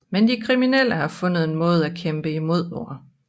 Men de kriminelle har fundet en måde at kæmpe imod på